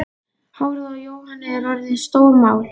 Hárið á Jóhanni er orðið stórmál.